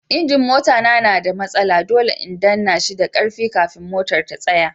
gia'n mota na da matsala, dole in danna shi da karfi kafin motar ta tsaya.